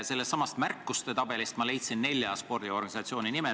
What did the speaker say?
Sellestsamast märkuste tabelist ma leidsin nelja spordiorganisatsiooni nimed.